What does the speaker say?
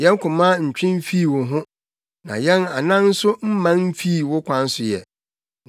Yɛn koma ntwe mfii wo ho; na yɛn anan nso mman mfii wo kwan so ɛ.